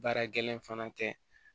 Baara gɛlɛn fana kɛ